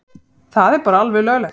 Það er bara alveg löglegt.